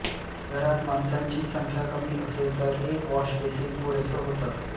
घरात माणसांची संख्या कमी असेल तर एक वॉशबेसिन पुरेसं होतं